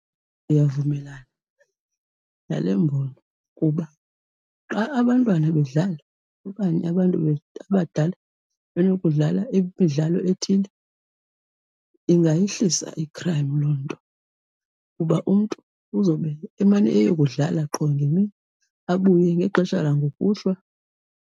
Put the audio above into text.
Ndiyavumelana nale mbono kuba xa abantwana bedlala okanye abantu abadala benokudlala imidlalo ethile ingayihlisa i-crime loo nto, kuba umntu uzobe emane eyokudlala qho ngemini abuye ngexesha langokuhlwa.